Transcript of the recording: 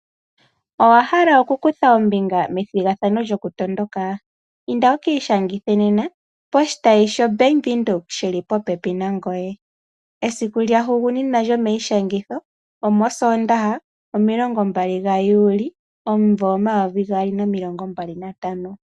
Owa hala okukutha ombinga methigathano lyokutondoka? Inda wu ka ishangithe nena poshitayi shoBank Windhoek shi li popepi nangoye. Esiku lya hugunina lyomaishangitho omOsoondaha mo20 Juli 2015.